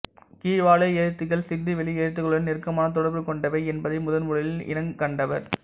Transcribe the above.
கீழ்வாலை எழுத்துகள் சிந்துவெளி எழுத்துகளுடன் நெருக்கமான தொடர்பு கொண்டவை என்பதை முதன்முதலில் இனங்கண்டவர்